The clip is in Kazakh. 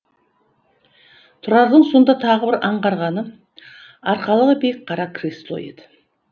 тұрардың сонда тағы бір аңғарғаны арқалығы биік қара кресло еді